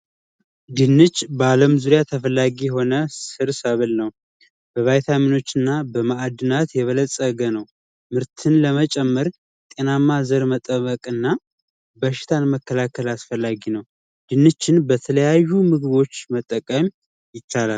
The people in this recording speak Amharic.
ድንች በአለም ዙሪያ ተፈላጊ የሆነ ስር ሰብል ነው። በቫይታሚኖች እና በማዕድን የበለፀገ ነው። ምርትን ለመጨመር ጤናማ ዘርን መጠበቅ እና በሽታን መከላከያ አስፈላጊ ነው። ድንችን በተለያዩ ምግቦች መጠቀም ይቻላል።